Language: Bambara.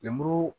Lemuru